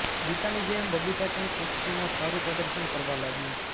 ગીતાની જેમ બબીતા પણ કુસ્તીમાં સારું પ્રદર્શન કરવા લાગી